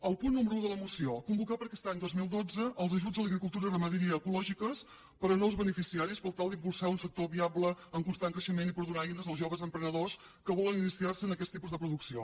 el punt número un de la moció convocar per a aquest any dos mil dotze els ajuts a l’agricultura i la ramaderia ecològiques per a nous beneficiaris per tal d’impulsar un sector viable en constant creixement i per donar eines als joves emprenedors que volen iniciar se en aquests tipus de producció